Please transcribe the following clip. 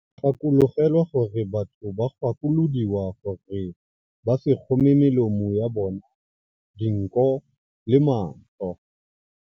Gakologelwa gore batho ba gakolodiwa gore ba se kgome melomo ya bona, dinko le matlho.